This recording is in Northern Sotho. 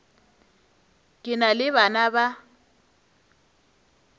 ke na le bana ba